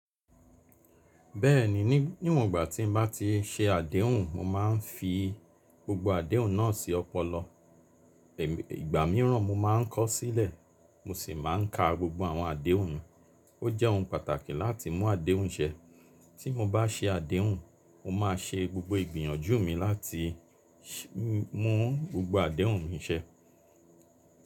Bẹ́ẹ̀ni, níwon gba tí n bá ti ṣe àdéhùn, mo máa ń fi gbogbo àdéhùn náà sí ọpọlọ. Ìgbà mìíràn mo máa ń kọ̀ sílẹ̀, mo sì máa ń ka gbogbo àwọn àdéhùn mi. O jẹ́ ohun pàtàkì láti mu àdéhùn ṣẹ. Tí mo bá ṣe àdéhùn, mo máa ṣe gbogbo ìgbìyànjú mi láti mu gbogbo àdéhùn mi ṣẹ.